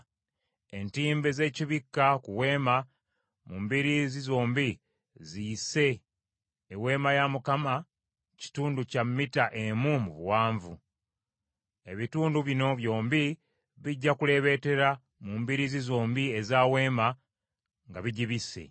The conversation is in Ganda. Entimbe z’ekibikka ku Weema mu mbiriizi zombi ziyise Eweema kitundu kya mita emu mu buwanvu. Ebitundu bino byombi bijja kuleebeetera mu mbiriizi zombi eza Weema nga bigibisse.